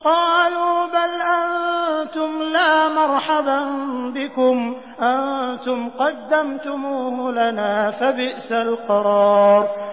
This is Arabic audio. قَالُوا بَلْ أَنتُمْ لَا مَرْحَبًا بِكُمْ ۖ أَنتُمْ قَدَّمْتُمُوهُ لَنَا ۖ فَبِئْسَ الْقَرَارُ